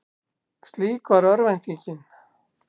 Slík var örvæntingin.